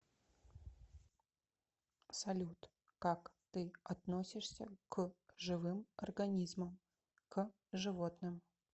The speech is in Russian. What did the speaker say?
салют как ты относишься к живым организмам к животным